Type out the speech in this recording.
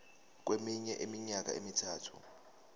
kweminye iminyaka emithathu